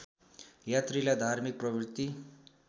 यात्रीलाई धार्मिक प्रवृत्ति